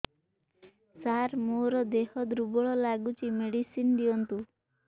ସାର ମୋର ଦେହ ଦୁର୍ବଳ ଲାଗୁଚି ମେଡିସିନ ଦିଅନ୍ତୁ